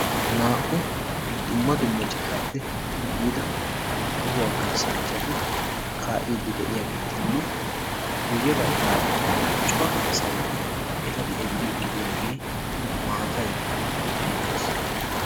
Naa''u dumma dumma citappe yiida tohuwaa kaassanchchati kaa'ide de'iyaagetinne guyyee baggara cora asay eta xeellide de'iyaagee maatay beettees.